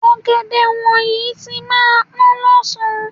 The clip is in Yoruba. Ọ̀gẹ̀dẹ̀ wọ̀nyí tí máa pọ́n lọ́sàn-án.